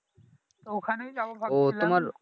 ওখানেই যাবো ভাবছিলাম